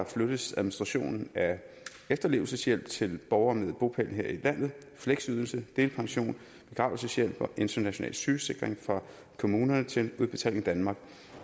flyttes administrationen af efterlevelseshjælp til borgere med bopæl her i landet fleksydelse delpension begravelseshjælp og international sygesikring fra kommunerne til udbetaling danmark